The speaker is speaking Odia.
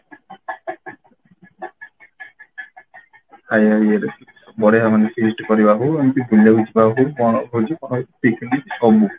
ଇଏ ରେ ବଢେଇବା ମାନେ feast କରିବା ହଉ ଏମିତି ବୁଲିବାକୁ ଯିବା ହଉ କଣ ହଉଛି picnic ସବୁ